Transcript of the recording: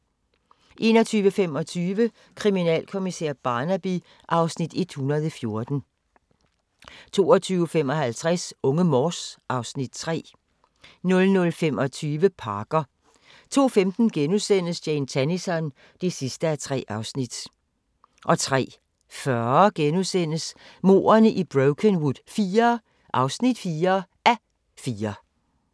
21:25: Kriminalkommissær Barnaby (Afs. 114) 22:55: Unge Morse (Afs. 3) 00:25: Parker 02:15: Jane Tennison (3:3)* 03:40: Mordene i Brokenwood IV (4:4)*